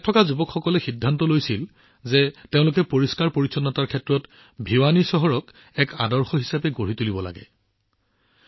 ইয়াত যুৱসকলে সিদ্ধান্ত লৈছিল যে পৰিষ্কাৰ পৰিচ্ছন্নতাৰ ক্ষেত্ৰত ভিৱানী চহৰখন অনুকৰণীয় কৰিব লাগিব